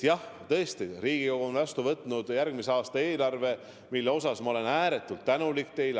Jah, tõesti, Riigikogu on vastu võtnud järgmise aasta eelarve, mille eest ma olen teile ääretult tänulik.